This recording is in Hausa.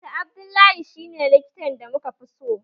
Dr Abdullah shi ne likitan da muka fi so